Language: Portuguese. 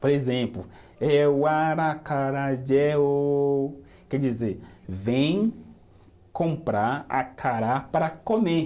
Por exemplo, é o aracarajé o... Quer dizer, vem comprar acará para comer.